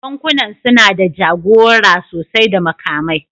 Bankunan suna da jagora sosai da makamai